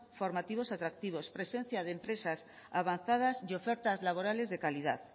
formativos atractivos presencia de empresas avanzadas y ofertas laborales de calidad